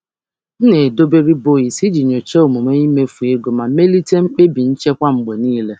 M na-edobe akwụkwọ nnabata iji nyochaa àgwụ mmefu ma mee ka mkpebi nchekwa dị nchekwa dị mma mgbe niile.